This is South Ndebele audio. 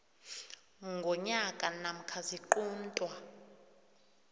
ngonyaka namkha ziquntwa